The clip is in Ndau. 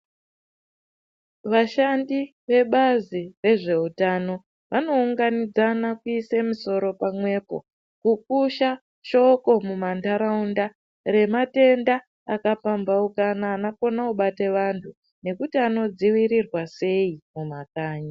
Vashandi vebazi rezveutano vanounganidzana kuise musoro pamwepo kukusha shoko munharaunda rematenda akapamhaukana anokone kubate vantu nekuti anodzivirirwa sei mumakanyi.